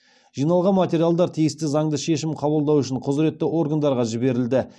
жиналған материалдар тиісті заңды шешім қабылдау үшін құзыретті органдарға жіберілді